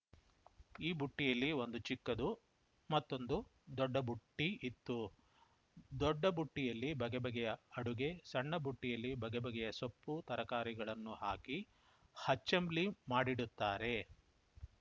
ಈ ಬುಟ್ಟಿಯಲ್ಲಿ ಒಂದು ಚಿಕ್ಕದು ಮತ್ತೊಂದು ದೊಡ್ಡ ಬುಟ್ಟಿಇತ್ತು ದೊಡ್ಡ ಬುಟ್ಟಿಯಲ್ಲಿ ಬಗೆ ಬಗೆಯ ಅಡುಗೆ ಸಣ್ಣ ಬುಟ್ಟಿಯಲ್ಲಿ ಬಗೆ ಬಗೆಯ ಸೊಪ್ಪು ತರಕಾರಿಗಳನ್ನು ಹಾಕಿ ಹಚ್ಚಂಬ್ಲಿ ಮಾಡಿಡುತ್ತಾರೆ